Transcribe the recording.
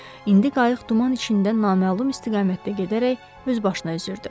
İndi qayıq duman içində naməlum istiqamətdə gedərək öz başına üzürdü.